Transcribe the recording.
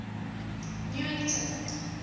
newington